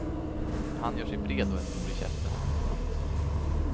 Dom gör sig bred och är stor i käften. punkt